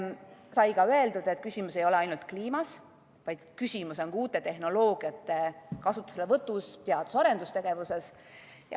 Sai ka öeldud, et küsimus ei ole ainult kliimas, vaid küsimus on uute tehnoloogiate kasutuselevõtus, teadus- ja arendustegevuses.